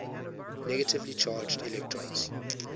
negatively charged electrons